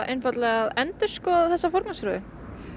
einfaldlega að endurskoða þessa forgangsröðun